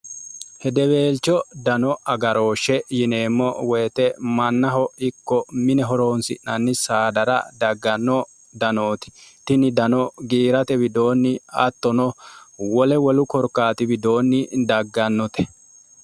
hedeweelcho dano agarooshshe yineemmo woyite mannaho ikko mine horoonsi'nanni saadara dagganno danooti tini dano giirate widoonni attono wole wolu korkaati widoonni daggannote